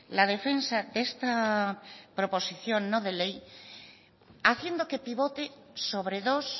la defensa de esta proposición no de ley haciendo que pivote sobre dos